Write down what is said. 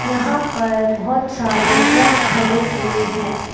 यहां पर बहोत सारे ट्रक खड़े हुए हैं।